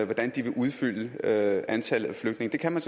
hvordan de vil udfylde antallet af flygtninge det kan man